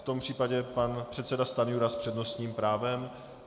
V tom případě pan předseda Stanjura s přednostním právem.